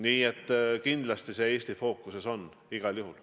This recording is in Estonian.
Nii et see Eesti fookuses on igal juhul.